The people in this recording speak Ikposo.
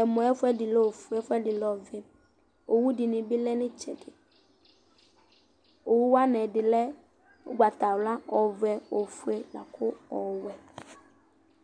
Ɛmɔ yɛ ayu ɛfu ɛdi lɛ ɔfue ɛfu ɛdi lɛ ɔvɛ Owu ɛdini bi lɛ nu itsɛdi Owu wani ɛdi lɛ ugbatawla ɔvɛ ofue la ku ɔwɛ